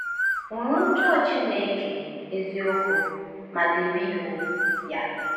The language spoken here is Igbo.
“Ṅụ́rụ̀ ụjọ Chineke eziokwu ma debe iwu Ya.”